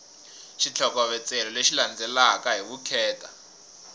xitlhokovetselo lexi landzelaka hi vukheta